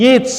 Nic!